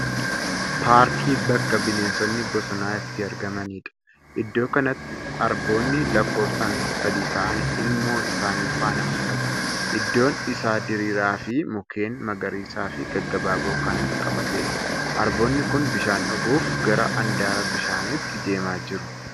Paarkii bakka bineensonni bosonaa itti argamanidha. Iddoo kanatti Arboonni lakkoofsaan sadi ta'an ilmoo isaanii faana mul'atu. iddoon isa diriiraa fi mukkeen magariisaa fi gaggabaaboo kan qabatedha. Arboonni kun bishaan dhuguuf gara handaara bishaanitti deemaa jiru.